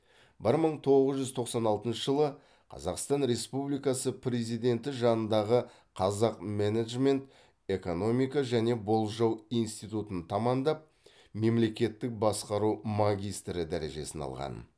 бір мың тоғыз жүз тоқсан алтыншы жылы қазақстан республикасы президенті жанындағы қазақ менеджмент экономика және болжау институтын тамамдап мемлекеттік басқару магистрі дәрежесін алған